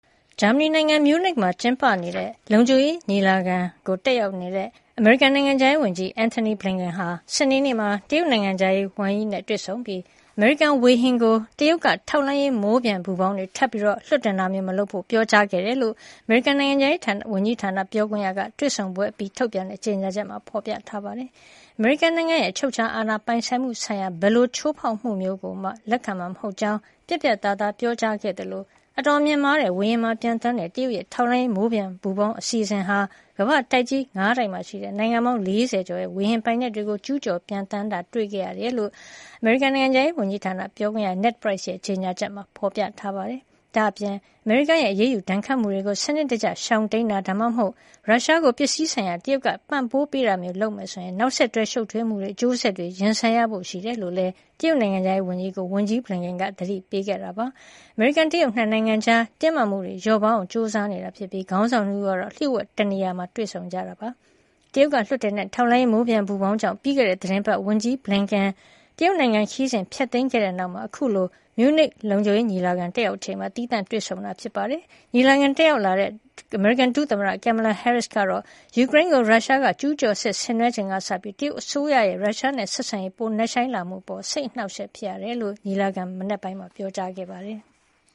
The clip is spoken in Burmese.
ဂျာမနီနိုင်ငံ မြူးနစ်မှာကျင်းပနေတဲ့ လုံခြုံရေးဆိုင်ရာညီလာခံကိုတက်ရောက်နေတဲ့ အမေရိကန်နိုင်ငံခြားရေးဝန်ကြီး Antony Blinken ဟာ စနေနေ့မှာ တရုတ်နိုင်ငံခြားရေးဝန်ကြီး Wang Yi နဲ့တွေ့ဆုံပြီး အမေရိကန်ဝေဟင်ကို တရုတ်က ထောက်လှမ်းရေးမိုးပျံပူဖေါင်း လွှတ်တင်တာမျိုး ထပ်မလုပ်ဖို့ ပြောကြားခဲ့တယ်လို့ အမေရိကန်နိုင်ငံခြားရေးဝန်ကြီးဌာန ပြောခွင့်ရက တွေ့ဆုံပွဲအပြီး ထုတ်ပြန်တဲ့ ကြေညာချက်မှာ ဖေါ်ပြထားပါတယ်။ အမေရိကန်နိုင်ငံရဲ့ အချုပ်အချာအာဏာပိုင်ဆိုင်မှုဆိုင်ရာ ဘယ်လိုချိုးဖေါက်မှုကိုမှ လက်ခံမှာမဟုတ်ကြောင်း ပြတ်ပြတ်သားသား ပြောကြားခဲ့သလို အတော်မြင့်မားတဲ့ဝေဟင်မှာပျံသန်းတဲ့ တရုတ်ရဲ့ထောက်လှမ်းရေး မိုးပျံပူဖေါင်းအစီအစဉ်ဟာ ကမ္ဘာ့တိုက်ကြီး ၅ တိုက်မှာရှိတဲ့ နိုင်ငံပေါင်း ၄၀ ကျော်ရဲ့ ဝေဟင်ပိုင်နက်တွေကို ကျူးကျော်ပျံသန်းခဲ့ကြောင်း ကမ္ဘာကသိရှိခဲ့တာဖြစ်ကြောင်း အမေရိကန်နိုင်ငံခြားရေးဌာန ပြောခွင့်ရ Ned Price ရဲ့ ကြေညာချက်မှာ ဖေါ်ပြထားပါတယ်။ ဒါ့ပြင် အမေရိကန်ရဲ့အရေးယူဒဏ်ခတ်မှုတွေကို စနစ်တကျရှောင်တိမ်းတာ ဒါမှမဟုတ် ရုရှားကို ပစ္စည်းဆိုင်ရာ တရုတ်ကပံ့ပိုးပေးတာမျိုးလုပ်ခဲ့မယ်ဆိုရင် နောက်ဆက်တွဲ ရှုပ်ထွေးမှုတွေ၊ အကျိုးဆက်တွေကိုရင်ဆိုင်ရဖို့ရှိတယ်လို့ တရုတ်နိုင်ငံခြားရေးဝန်ကြီးကို ဝန်ကြီး Blinken က သတိပေးခဲ့တယ်လို့လည်း ပြောခွင့်ရ Price က ပြောပါတယ်။ အမေရိကန် တရုတ် ၂ နိုင်ငံကြား တင်းမာမှုတွေ လျော့ပါးအောင် ကြိုးစားနေကြတာဖြစ်ပြီး ခေါင်းဆောင် ၂ ဦးကတော့ လျှို့ဝှက်တနေရာမှာ တွေ့ဆုံခဲ့ကြတာ ဖြစ်ပါတယ်။ တရုတ်ကလွှတ်တင်တဲ့ ထောက်လှမ်းရေးမိုးပျံပူဖေါင်းကြောင့် ပြီးခဲ့တဲ့ သီတင်းပတ်က ဝန်ကြီး Blinken က တရုတ်နိုင်ငံခရီးစဉ်ကို ဖျက်သိမ်းခဲ့တဲ့နောက် အခုလို မြူးနစ် လုံခြုံရေးညီလာခံ တက်ရောက်ချိန်မှာ သီးသန့်တွေ့ဆုံခဲ့တာ ဖြစ်ပါတယ်။ ညီလာခံတက်ရောက်လာတဲ့ အမေရိကန်ဒုသမ္မတ Kamala Harris ကတော့ ယူကရိန်းကို ရုရှားက ကျူးကျော်စစ်ဆင်နွဲချိန်ကစပြီး တရုတ်အစိုးရရဲ့ ရုရှားနဲ့ ဆက်ဆံရေး ပိုနက်ရှိုင်းမှုအပေါ် စိတ်အနှောင့်အယှက်ဖြစ်ရကြောင်း စနေနေ့ မနက်ပိုင်းက ပြောကြားခဲ့ပါတယ်။